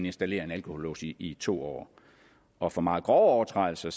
installeret en alkolås i to år og for meget grove overtrædelser